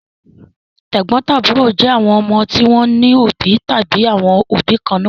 Tẹ̀gbọ́ntàbúrò jẹ́ àwọn ọmọ tí wọ́n ní òbí tàbí àwọn òbí kan náà.